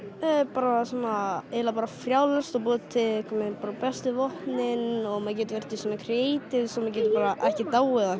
bara svona eiginlega bara frjálst og búa til bara bestu vopnin og maður getur verið í svona creatives og maður getur bara ekki dáið og